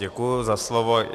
Děkuji za slovo.